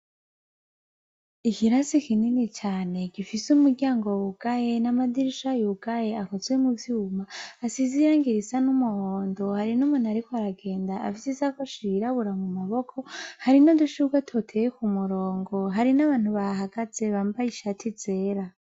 Ikirasi ikinini cane gifise umuryango wwugaye n'amadirisha yugaye akozwe mu vyuma asizirangirisa n'umuhondo hari n'umuntariko aragenda avyiza ko ashirirabura mu maboko hari no dushubwe toteye ku murongo hari n'abantu ba hagaze bambaye ishati zera.